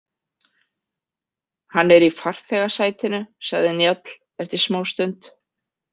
Hann er í farþegasætinu, sagði Njáll eftir smástund.